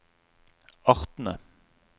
artene